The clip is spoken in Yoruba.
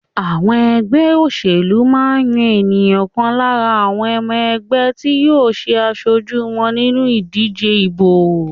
Àwọn ẹgbẹ́ òṣèlú máa ń yan èèyàn kan lára àwọn ọmọ ẹgbẹ́ tí yóò ṣe aṣojú wọn nínú ìdíje ìbò.